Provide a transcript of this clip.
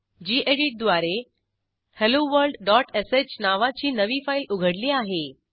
गेडीत द्वारे hello worldsh नावाची नवी फाईल उघडली आहे